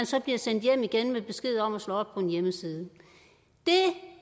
så bliver sendt hjem igen med besked om at slå op på en hjemmeside det